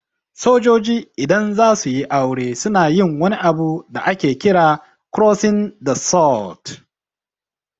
Sojoji idan zasuyi aure suna yin wani abu da ke kira "Crossing the Sword".